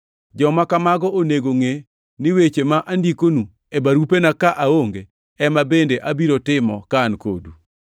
Joma kamago onego ngʼe ni weche ma andikonu e barupena ka aonge, ema bende abiro timo ka an kodu.